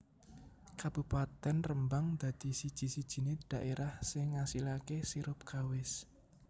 Kabupatèn Rembang dadi siji sijinè daèrah sing ngasilakè sirup kawis